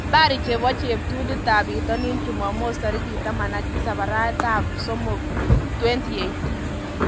Habari chebo cheptulit bitonin chumamos 17.03.2018